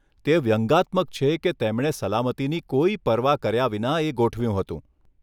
તે વ્યંગાત્મક છે કે તેમણે સલામતીની કોઈ પરવા કર્યા વિના એ ગોઠવ્યું હતું.